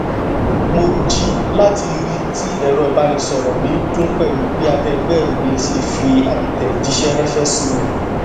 mo ji lati rii ti ẹrọ ibanisọrọ mi n dun pẹlu bi akẹẹgbẹ mi ṣe fi atẹjiṣẹ ranṣẹ si mi